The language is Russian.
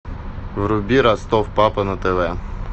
вруби ростов папа на тв